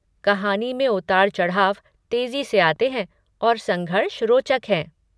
कहानी में उतार चढ़ाव तेजी से आते हैं और संघर्ष रोचक हैं।